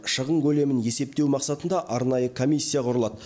шығын көлемін есептеу мақсатында арнайы комиссия құрылады